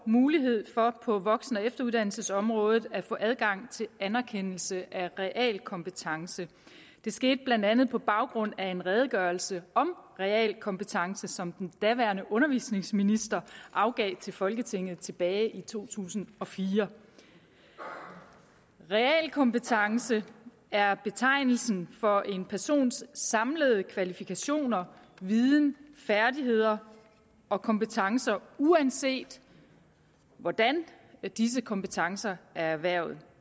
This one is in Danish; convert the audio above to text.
mulighed for på voksen og efteruddannelsesområdet at få adgang til anerkendelse af realkompetencer det skete blandt andet på baggrund af en redegørelse om realkompetence som den daværende undervisningsminister afgav til folketinget tilbage i to tusind og fire realkompetence er betegnelsen for en persons samlede kvalifikationer viden færdigheder og kompetencer uanset hvordan disse kompetencer er erhvervet